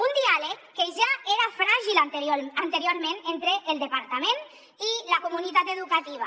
un diàleg que ja era fràgil anteriorment entre el departament i la comunitat educativa